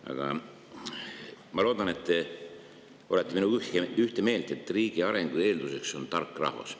Aga ma loodan, et te olete minuga ühte meelt, et riigi arengu eelduseks on tark rahvas.